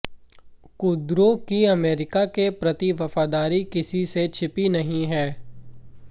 कुर्दों की अमेरिका के प्रति वफादारी किसी से छिपी नहीं है